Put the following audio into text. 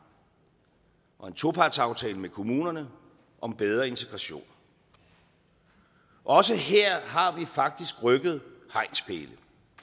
og en topartsaftale med kommunerne om bedre integration også her har vi faktisk rykket hegnspæle